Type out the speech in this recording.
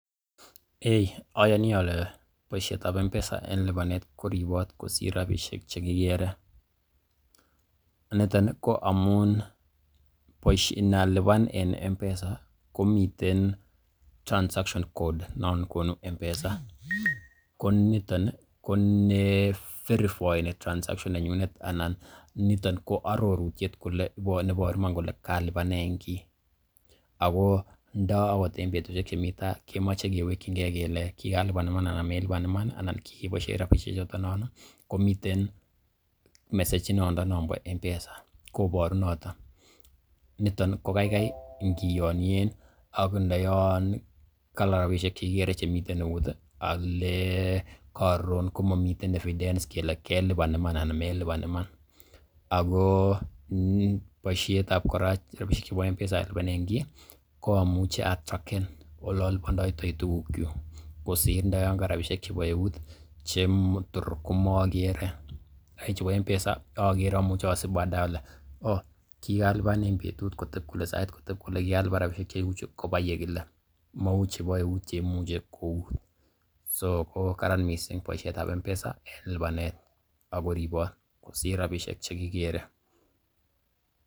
Eiy oyoni ole boisietab M-Pesa en libanet koribot kosir rabishek che kigere. Niton ko amun inalipan en M-Pesa komiten transaction code non konu M-Pesa, ko niton ko neverifaen transaction neyunet anan niton ko arorutiet neiboru iman kole kalipanen kiy ago ndo ot en betushek chemi tai kemoche kewekinge kele kigalipan iman anan melipan iman anan kigeboishen rabishek choton non komiten message inondon nombo M-Pesa koboru noton. Niton ko kaikai ingiyonyen ak ndoyon ka rabishek che kigere chemiten eut ole karon komomiten evidence kele kelipan iman anan melipan iman. Ko boisiet ab kora M-Pesa alipanen kiy ko amuche atracken ole olipondoitoi tuguk kyuk kosir ndo yon ka rabishek chebo eut che tor komakere. Lakini chebo M-Pesa ogere, amuche asib baadae ole oo kigalipan en betut kole, sait koteb kole, kigalipan rabishek cheu chu, koba yekile. Mau chebo eut cheimuche kout so ko karan mising boisiet ab M-Pesa kelipanen, ago ribot kosir rabishek che kigere.